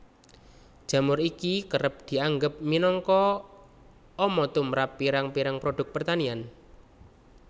Jamur iki kerep dianggep minangka ama tumrap pirang pirang produk pertanian